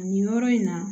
Nin yɔrɔ in na